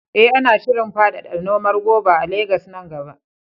Eh, ana shirin faɗaɗa noman goba a Legas nan gaba.